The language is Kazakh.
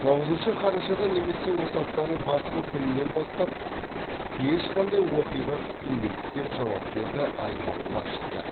тоғызыншы қарашадан немесе осы аптаның басқа күнінен бастап ешқандай оқиға күтілмейді деп жауап берді аймақ басшысы